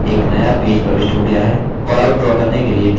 एक नया पेज प्रविष्ट हो गया है